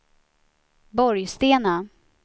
Borgstena